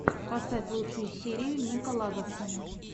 поставь лучшую серию нико лагоса